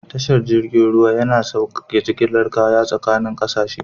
Tashar jirgin ruwa yana saukaka jigilar kaya tsakanin kasashe.